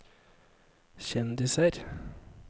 kjendiser